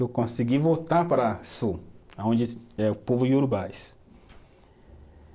Eu consegui voltar para sul, aonde é o povo Iorubás.